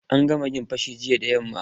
An kama'yan fashi jiya da yamma.